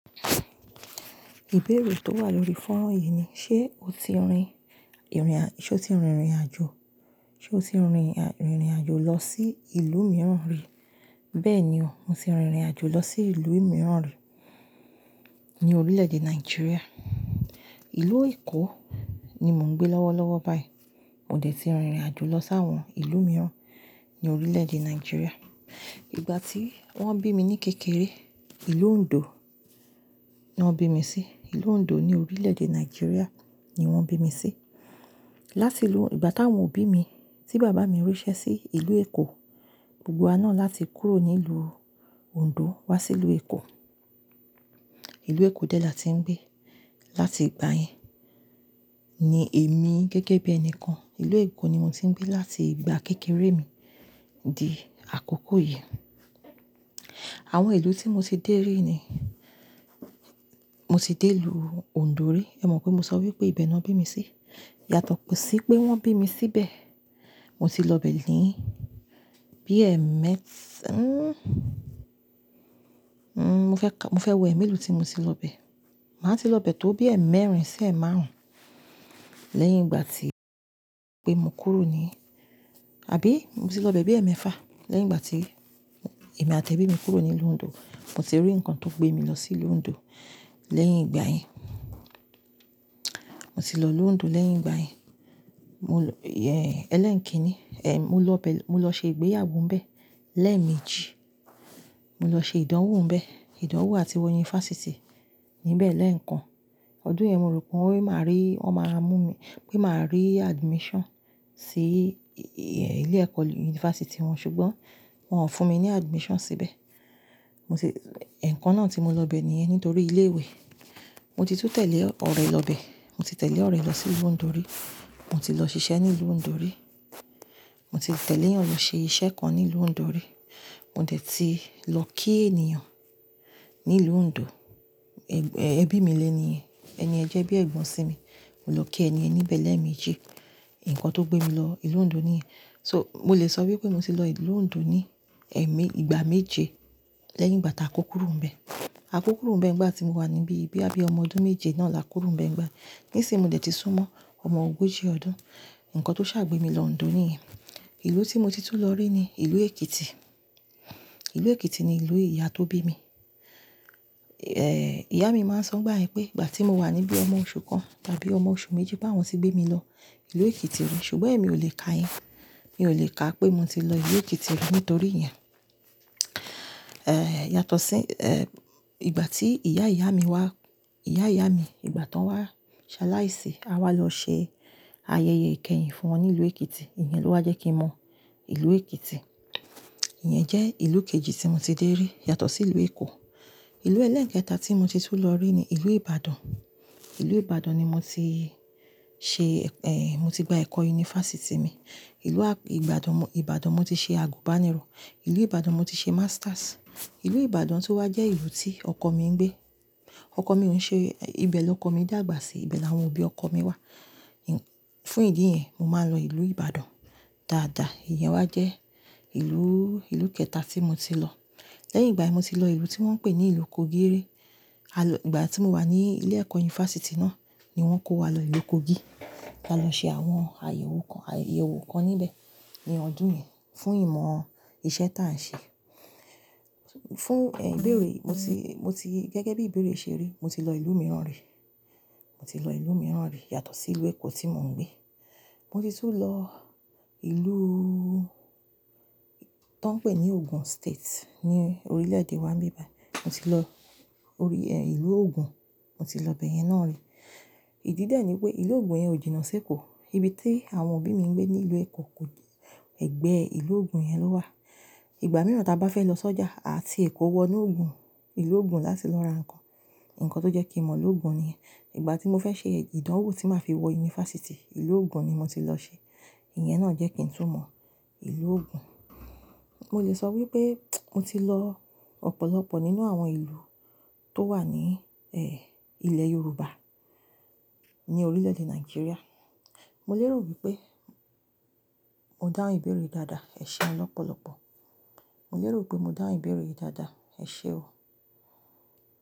Ìbéèrè tó wà lórí fóònù yìí ni, ṣe o ti rin ìrìn ṣé o ti rin ìrìn-àjò, ṣe o ti rin ìrìn-àjò lọ sí ìlú mìíràn rí? Bẹ́ẹ̀ni o, mo ti rin ìrìnàjò lọ sí ìlú mìíràn rí ní orílẹ̀-èdè Nàìjíríà. Ìlú Èkó ni mò ń gbé lọ́wọ́lọ́wọ́ báyìí. Mo dẹ̀ ti rin ìrìnàjò lọ sáwọn ìlú mìíràn ní orílẹ̀-èdè Nàìjíríà. Ìgbà tí wọ́n bí mi ní kékeré, ìlú Ondo ni wọ́n bí mi sí. Ìlú Ondo ní orílẹ̀-èdè Nàìjíríà ni wọ́n bí mi sí. Láti ìlú-- ìgbà táwọn bí mi, tí bàbá mi ríṣẹ́ sí ìlú Èkó, gbogbo wa náà láti kúrò nílùú Ondo wá sí ìlú Èkó. Ìlú Èkó dẹ̀ la ti ń gbé láti ìgbà yẹn. Ni èmi gẹ́gẹ́ bí ẹni kan, ìlú Èkó ni mo ti ń gbé láti ìgbà kékeré mi di àkókò yìí. Àwọn ìlú tí mo ti dé rí ni, mo ti dé ìlú Ondo rí. Ẹ mọ̀ pé mo sọ wípé ibẹ̀ ni wọ́n bí mi sí. Yàtọ̀ pọ̀ sí pé wọ́n bí mi síbẹ̀. Mo ti lọ bẹ̀ ní bí ẹ̀ mẹ́-- n-n-n mo fẹ́ ka-- mo fẹ́ wẹ̀ è mélòó tí mo ti lọ bẹ̀. Màá ti lọ bẹ̀ tó bí ẹ̀ mẹ́rin sí ẹ̀ márùn-ún lẹ́yìn ìgbà tí pé mo kúrò ní-- àbí mo ti lọ bẹ̀ bí ẹ̀ mẹ́fà lẹ́yìn ìgbà tí èmi àti ẹbí mi kúrò nílùú Ondo. Mo ti rí nǹkan tó gbé mi lọ sí ìlú Ondo lẹ́yìn ìgbà yẹn. Mo ti lọ ìlú Ondo lẹ́yìn ìgbà yẹn. Mo, ẹlẹ́ẹ̀ẹ́kínní. Mo lọ ṣe ìgbéyàwó ń bẹ̀ lẹ́ẹ̀méjì. Mo lọ ṣe ìdánwò ń bẹ̀. Ìdánwò àti wọ yunifásítì níbẹ̀ lẹ́ẹ̀kan. Ọdún yẹn mo rò pé wọn ni máa rí, wọn máa mú mi, pé máa rí admission sí, e, ilé ẹ̀kọ́ yunifásítì wọn, ṣùgbọ́n wọn ò fún mi ní admission síbẹ̀. Mo ti-- ẹ̀ẹ̀kan náà tí mo lọ bẹ̀ níyẹn nítorí ilé ìwé. Mo ti tún tẹ̀lé ọ̀rẹ́ lọ bẹ̀. Mo ti tẹ̀lé ọ̀rẹ́ lọ sí ìlú Ondo rí. Mo ti lọ ṣiṣẹ́ ní ìlú Ondo rí. Mo ti tẹ̀léyàn lọ ṣe iṣẹ́ kan ní ìlú Ondo rí. Mo dẹ̀ ti lọ kí ènìyàn ní ìlú Ondo. Ẹbí mi léni yẹn. Ẹni yẹn jẹ́ bí ẹ̀gbọ́n sì mi. Mo lọ kí ẹni yẹn níbẹ̀ lẹ́ẹ̀méjì. Ǹkan tó gbé mi lọ ìlú Ondo níyẹn. Mo lè sọ wípé mo ti lọ ìlú Ondo ní ẹ̀me-- ìgbà méje lẹ́yìn ìgbà táa kó kúrò ńbẹ̀. A kó kúrò ńbẹ̀ nígbà tí mo wà níbí bóyá bí ọmọ ọdún méje náà la kúrò ńbẹ̀ nígbà. Nísin yì, mo ti dé tó súnmọ́ ọmọ ogójì ọdún. Ǹnkan tó o sá gbé mi lọ Ondo ìlú tí mo tún lọ ni ni ìlú Ekiti. Ìlú Èkìtì ni ìlú ìyá tó bí mi. Ìyá mi ma ń sọ nígbà yẹn wípé ìgbà tí mo wà ní bí ọmọ oṣù kan tàbí ọmọ oṣù méjì pé àwọn ti gbé mi lọ sí ìlú Ekiti yìí ṣùgbọ́n è mi kòlè ka yẹn. Mi ò lè ka pé mo ti lọ ìlú Ekiti rí nítorí ìyẹn. Ẹ̀, yàtọ̀ sí, ẹ̀, ìgbà tí ìyá ìyá mi wá, ìyá ìyá mi ìgbà tán wá ṣaláìsí, a wá lọ ṣe ayẹyẹ ìkẹyìn fún wọn ní ìlú Èkìtì. Ìyẹn ló wá jẹ́ kí mọ ìlú Èkìtì. Ìyẹn jẹ́ ìlú kejì tí mo ti dé rí yàtọ̀ sí ìlú Èkó. Ìlú ẹlẹ́ẹ̀kẹta tí mo ti tún lọ rí ni ìlú Ìbàdàn. Ìlú Ìbàdàn ni mo ti ṣe, ẹ́, mo ti gba ẹ̀kọ́ yunifásítì mi. Ìlú à-- Ìbàdàn, Ìbàdàn mo ti ṣe àgùnbánirọ̀. Ìlú Ìbàdàn mo ti ṣe masters. Ìlú Ìbàdàn tún wá jẹ́ ìlú tí ọkọ mi ń gbé. Ọkọ mi òun ṣe-- ẹ, ibẹ̀ lọkọ mi dàgbà sí, ibẹ̀ ni àwọn òbí ọkọ mi wà. Fún ìdí yẹn, mo máa ń lọ ìlú Ìbàdàn dáadáa. Ìyẹn wá jẹ́ ìlúù, ìlú kẹta tí mo ti lọ. Lẹ́yìn ìgbà yẹn, mo ti lọ ìlú tí wọ́n ń pè ní ìlú Kogi rí. A lọ-- ìgbà tí mo wà ní ilé ẹ̀kọ́ yunifásítì náà ni wọ́n kó wa lọ ìlú Kogi láti lọ ṣe àwọn àyẹ̀wò kan, àyẹ̀wò kan níbẹ̀ ní ọdún yẹn fún ìmọ̀ iṣẹ́ táà ń ṣe. Fún, ẹ, ìbéèrè mo ti, mo ti gẹ́gẹ́ bí ìbéèrè ṣe rí, mo ti lọ ìlú mìíràn rí. Mo ti lọ ìlú mìíràn rí yàtọ̀ sí ìlú Èkó tí mò ń gbé. Mo ti tún lọ ìlú tó ń pè ní ìpínlẹ̀ Ogun ní orílẹ̀-èdè wa níbẹ̀ báyìí. Mo ti lọ orí, ẹ́, ìlú Ogun. Mo ti lọ ibẹ̀ yẹn náà rí. Ìdí dè ní pé ìlú Ogun yẹn ò jìnnà sí Èkó. Ibi tí àwọn òbí mi ń gbé ní ìlú Èkó kò j-- ẹ̀gbẹ́ ìlú Ogun yẹn ló wà. Ìgbà mìíràn táa bá fẹ́ lọ sọ́jà, a ti Èkó wọ inú Ogun, ìlú Ogun láti lọ ra nǹkan. Ǹkan tó jẹ́ kí n mọ ìlú Ogun nìyẹn. Ìgbà tí mo fẹ́ ṣe ìdánwò tí màá fi wọ yunifásítì, ìlú Ogun ni mo ti lọ ṣe. Ìyẹn náà jẹ́ kí n tún mọ ìlú Ogun. Mo lè sọ wípé mo ti lọ ọ̀pọ̀lọpọ̀ nínú àwọn ìlú tó wà ní, ẹ́, ilẹ̀ Yorùbá ní orílẹ̀-èdè Nàìjíríà. Mo lérò wípé mo dáhùn ìbéèrè dáadáa. Ẹ ṣé un lọ́pọ̀lọpọ̀. Mo lérò wípé mo dáhùn ìbéèrè yìí dáadáa. Ẹ ṣé o.